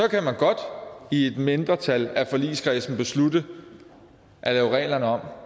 kan man godt i et mindretal af forligskredsen beslutte at lave reglerne om